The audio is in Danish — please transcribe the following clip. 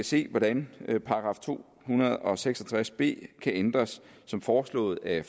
se hvordan § to hundrede og seks og tres b kan ændres som foreslået af